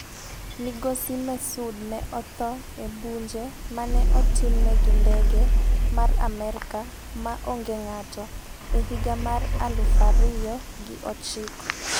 Migosi Mehsud ne otho e bunje mane otimne gi ndege mar Amerka ma onge ng'ato e higa mar 2009.